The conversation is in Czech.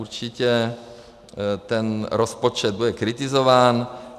Určitě ten rozpočet bude kritizován.